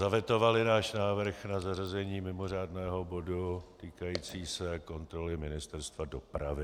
Zavetovaly náš návrh na zařazení mimořádného bodu týkajícího se kontroly Ministerstva dopravy.